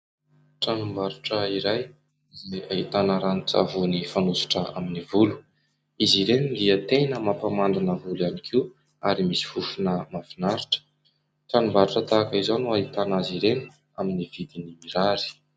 Tranombarotra iray izay ahitana ranon-tsavony fanosotra amin'ny volo. Izy ireny dia tena mampamandina ny volo ihany koa ary misy fofona mahafinaritra. Tranombarotra tahaka izao no ahitana azy ireny amin'ny vidiny mirary.